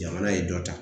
Jamana ye dɔ ta